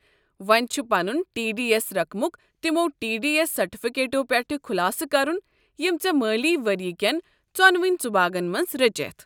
وونہِ چھُ پنُن ٹی ڈی ایس رقمُک تِمو ٹی ڈی ایس سرٹِفِكیٹو پیٹھہٕ خُٖلاصہٕ كرُن یِم ژے٘ مٲلی ؤریہ كین ژۄنوٕنی ژُباگن منٛز رٔچیتھ۔